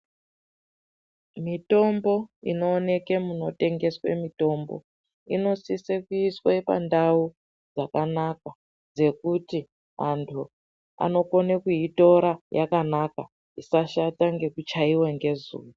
Mitombo inooneke munotengeswe mitombo, inosise kuiswe pandau yakanaka dzekuti antu anokone kuitora yakanaka ,isashata ngekuchaiwe ngezuwa.